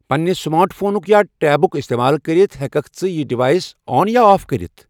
پننِہ سمارٹ فونُک یا ٹیٖبُک استعمال کٔرِتھ ہیکَھکھ ژٕ یِہ ڈیوائس آن یا آف کٔرِتھ ۔